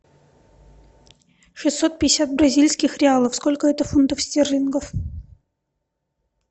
шестьсот пятьдесят бразильских реалов сколько это фунтов стерлингов